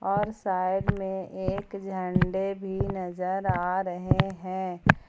और साइड में एक झंडे भी नजर आ रहे हैं।